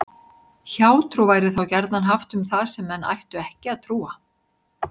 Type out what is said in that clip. Hjátrú væri þá gjarnan haft um það sem menn ættu ekki að trúa.